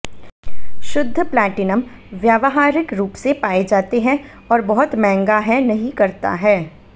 शुद्ध प्लैटिनम व्यावहारिक रूप से पाए जाते हैं और बहुत महंगा है नहीं करता है